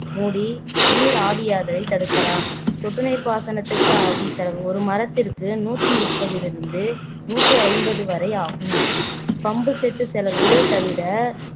மூடி நீராவியாதலை தடுக்கலாம் சொட்டு நீர் பாசனத்திற்கு ஆகும் செலவு ஒரு மரத்திற்கு நூற்று முப்பதிலிருந்து நூற்று ஐம்பது வரை ஆகும் பம்பு செட் செலவு தவிர